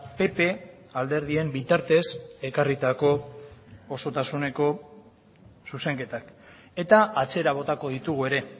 pp alderdien bitartez ekarritako osotasuneko zuzenketak eta atzera botako ditugu ere